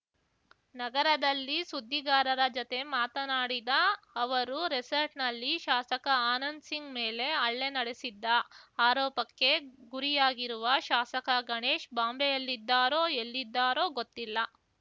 ನಗರದಲ್ಲಿ ಸುದ್ದಿಗಾರರ ಜತೆ ಮಾತನಾಡಿದ ಅವರು ರೆಸಾರ್ಟ್‌ನಲ್ಲಿ ಶಾಸಕ ಆನಂದ್‌ ಸಿಂಗ್‌ ಮೇಲೆ ಹಲ್ಲೆ ನಡೆಸಿದ್ದ ಆರೋಪಕ್ಕೆ ಗುರಿಯಾಗಿರುವ ಶಾಸಕ ಗಣೇಶ್‌ ಬಾಂಬೆಯಲ್ಲಿದ್ದಾರೋ ಎಲ್ಲಿದ್ದಾರೋ ಗೊತ್ತಿಲ್ಲ